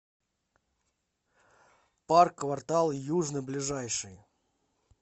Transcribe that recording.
парк квартал южный ближайший